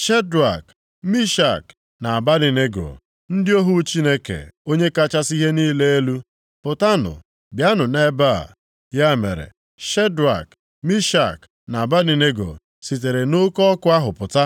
“Shedrak, Mishak na Abednego, ndị ohu Chineke Onye kachasị ihe niile elu, pụtanụ! Bịanụ nʼebe a!” Ya mere, Shedrak, Mishak na Abednego, sitere nʼoke ọkụ ahụ pụta.